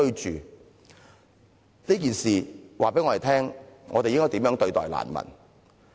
這件事告訴我們應該怎樣對待難民。